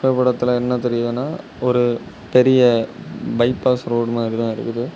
ஓரத்துல என்ன தெரியுதுனா ஒரு பெரிய பைபாஸ் ரோடு மாதிரித இருக்குது.